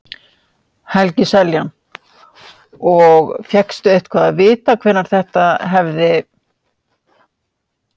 Helgi Seljan: Og fékkstu eitthvað að vita hvenær þetta hefði?